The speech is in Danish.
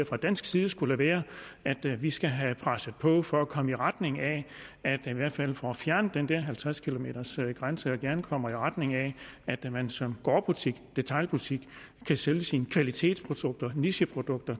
fra dansk side skulle være at vi skal have presset på for at komme i retning af at vi i hvert fald får fjernet den der halvtreds kilometers grænse og gerne kommer i retning af at man som gårdbutik detailbutik kan sælge sine kvalitetsprodukter nicheprodukter